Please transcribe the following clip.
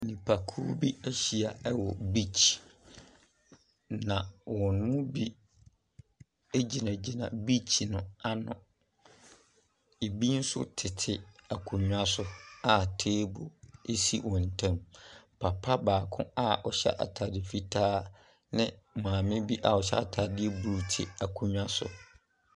Nipa kuo bi ehyia ɛwɔ biikyi. Na wɔn mu bi egyinagyina biikyi no ano. Ebi so tete akonwa so a teebol esi wɔn team. Papa baako a ɔhyɛ ataade fitaa ne maame bi ɔhyɛ ataade blu te akonwa so.